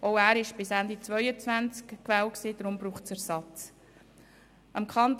Auch er war bis Ende 2022 gewesen, daher braucht es einen Ersatz.